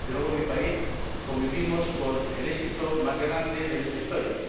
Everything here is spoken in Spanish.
Desde luego, en mi país convivimos con el éxito más grande de nuestra historia.